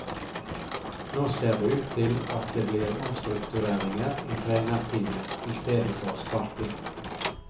Nå ser det ut til at det blir omstruktureringer i trenerteamet i stedet for sparking.